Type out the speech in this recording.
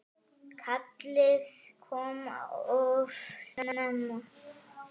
Kallið kom of snemma.